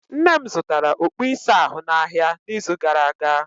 Nne m zụtara okpu ịsa ahụ n'ahịa n'izu gara aga.